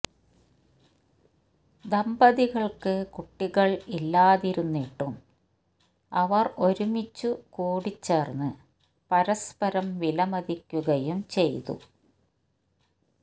ദമ്പതികൾക്ക് കുട്ടികൾ ഇല്ലാതിരുന്നിട്ടും അവർ ഒരുമിച്ചു കൂടിച്ചേർന്ന് പരസ്പരം വിലമതിക്കുകയും ചെയ്തു